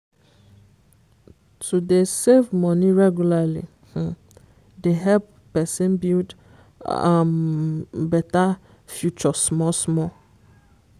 to dey save money regularly um dey help person build um better future small small.